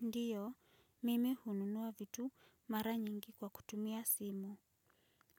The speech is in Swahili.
Ndio, mimi hununua vitu mara nyingi kwa kutumia simu.